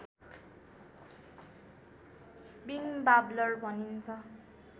winged warbler भनिन्छ